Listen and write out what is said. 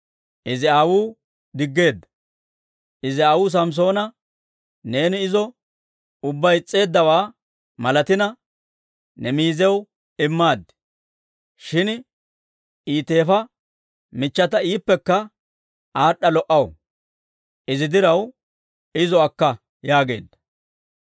Izi aawuu Samssoona, «Neeni izo ubbaa is's'eeddawaa malatina, ne miiziyaw immaad. Shin I teefa michchata iippekka aad'd'a lo"a; Izi diraw izo akka» yaageedda.